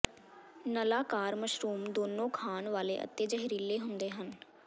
ਨਲਾਕਾਰ mushroom ਦੋਨੋ ਖਾਣ ਵਾਲੇ ਅਤੇ ਜ਼ਹਿਰੀਲੇ ਹੁੰਦੇ ਹਨ